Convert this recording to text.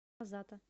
азата